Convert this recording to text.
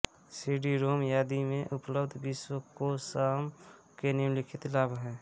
CD-ROM आदि में उपलब्ध विश्वकोषॉम के निम्नलिखित लाभ हैं